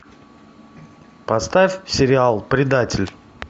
поставь сериал предатель